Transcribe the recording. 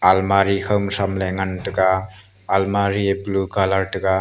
almari khawma shramley ngan taiga almari e blue colour tega.